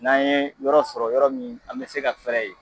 N'an ye yɔrɔ sɔrɔ yɔrɔ min a bɛ se ka fɛɛrɛ ye